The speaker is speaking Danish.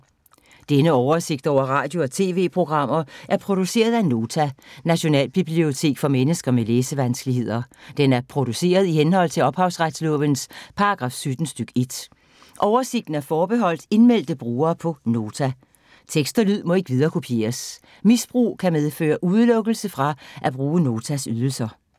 Denne oversigt over radio og TV-programmer er produceret af Nota, Nationalbibliotek for mennesker med læsevanskeligheder. Den er produceret i henhold til ophavsretslovens paragraf 17 stk. 1. Oversigten er forbeholdt indmeldte brugere på Nota. Tekst og lyd må ikke viderekopieres. Misbrug kan medføre udelukkelse fra at bruge Notas ydelser.